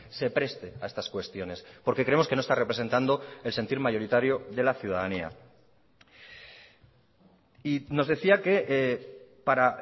se preste ha estas cuestiones porque creemos que no está representando el sentir mayoritario de la ciudadanía y nos decía que para